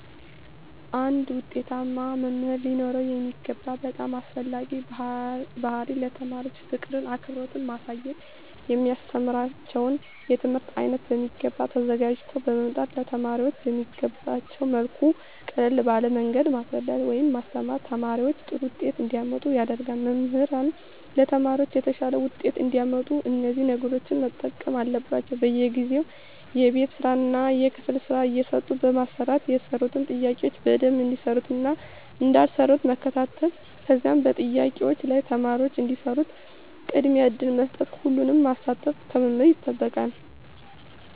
አንድ ዉጤታማ መምህር ሊኖረዉ የሚገባ በጣም አስፈላጊዉ ባህሪይ ለተማሪዎች ፍቅርን አክብሮትን ማሳየት የሚያስተምራቸዉን የትምህርት አይነት በሚገባ ተዘጋጅተዉ በመምጣት ለተማሪዎች በሚገቧቸዉ መልኩ ቀለል ባለ መንገድ ማስረዳት ወይም ማስተማር ተማሪዎች ጥሩ ዉጤት እንዲያመጡ ያደርጋል መምህራን ለተማሪዎች የተሻለ ዉጤት እንዲያመጡ እነዚህን ነገሮች መጠቀም አለባቸዉ በየጊዜዉ የቤት ስራእና የክፍል ስራ እየሰጡ በማሰራት የሰሩትን ጥያቄዎች በደንብ እንደሰሩትእና እንዳልሰሩት መከታተል ከዛም በጥያቄዎች ላይ ተማሪዎች እንዲሰሩት ቅድሚያ እድል በመስጠት ሁሉንም ማሳተፍ ከመምህራን ይጠበቃል